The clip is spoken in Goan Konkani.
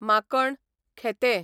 माकण, खेतें